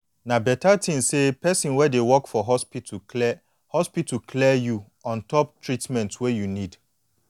na beta thin say person wey dey work for hospital clear hospital clear you ontop treatment wey you need